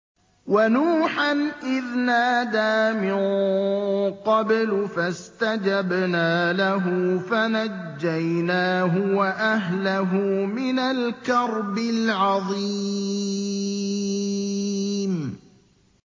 وَنُوحًا إِذْ نَادَىٰ مِن قَبْلُ فَاسْتَجَبْنَا لَهُ فَنَجَّيْنَاهُ وَأَهْلَهُ مِنَ الْكَرْبِ الْعَظِيمِ